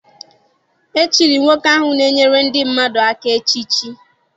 E chiri nwoke ahụ na-enyere ndị mmadụ aka echiche.